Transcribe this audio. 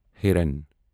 ہیران